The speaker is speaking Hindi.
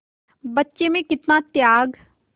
बच्चे में कितना त्याग